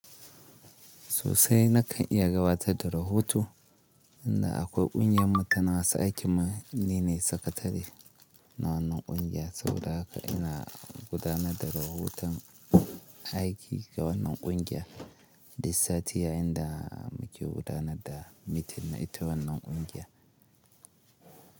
Susai na kan iya gawata da rahoto, inda akwai ƙungiyar mutane masu aiki manene sakatari na wannan ƙungiya saboda haka ina gudanar da rahoton aiki ga wannan ƙungiya, da satiya inda muke gudanar da mitin na ita wannan ƙungiya.